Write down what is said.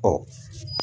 Ɔ